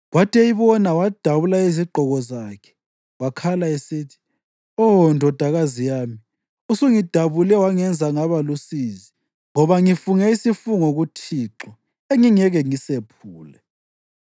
Kwathi eyibona wadabula izigqoko zakhe wakhala esithi, “Oh! Ndodakazi yami! Usungidabule wangenza ngaba lusizi, ngoba ngifunge isifungo kuThixo engingeke ngisephule.”